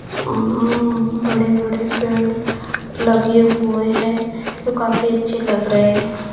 अह बड़े-बड़े पेड़ लगे हुए है जो काफी अच्छे लग रहे है।